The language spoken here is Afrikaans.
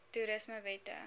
toerismewette